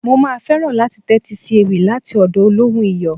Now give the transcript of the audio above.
Mo máa fẹ́ràn láti tẹ́tí sí ewì láti ọ̀dọ̀ olóhùn Iyọ̀.